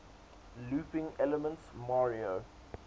looping elements mario